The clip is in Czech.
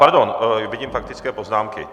Pardon, vidím faktické poznámky.